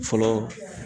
Fɔlɔ